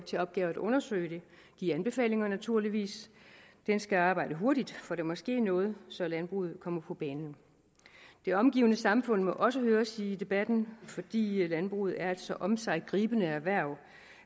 til opgave at undersøge det og give anbefalinger naturligvis den skal arbejde hurtigt for der må ske noget så landbruget kommer på banen det omgivende samfund må også høres i debatten fordi landbruget er et så omsiggribende erhverv